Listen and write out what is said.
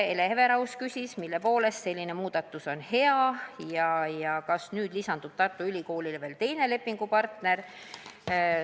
Hele Everaus küsis, mille poolest selline muudatus on hea ja kas nüüd lisandub Tartu Ülikoolile veel teine lepingupartner.